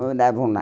Moravam lá.